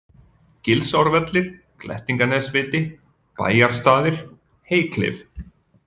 Gilsárvellir, Glettinganesviti, Bæjarstaðir, Heyklif